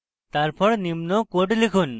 তারপর নিম্ন code লিখুন: